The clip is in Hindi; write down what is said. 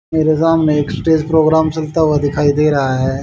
मेरे सामने एक स्टेज प्रोग्राम चलता हुआ दिखाई दे रहा है।